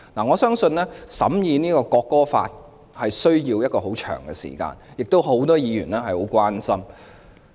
我相信審議本地國歌法需要很長時間，很多議員對此也表示關注。